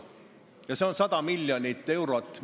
See on vähemalt 100 miljonit eurot.